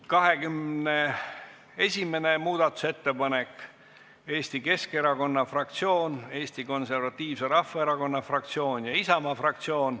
21. muudatusettepanek, autorid Eesti Keskerakonna fraktsioon, Eesti Konservatiivse Rahvaerakonna fraktsioon ja Isamaa fraktsioon.